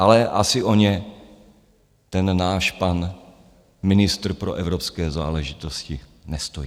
Ale asi o ně ten náš pan ministr pro evropské záležitosti nestojí.